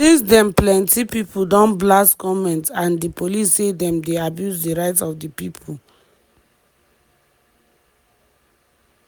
since den plenty pipo don blast goment and di police say dem dey abuse di rights of di pipo.